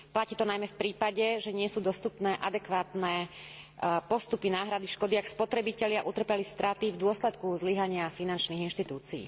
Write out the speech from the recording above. Platí to najmä v prípade, že nie sú dostupné adekvátne postupy náhrady škody, ak spotrebitelia utrpeli straty v dôsledku zlyhania finančných inštitúcií.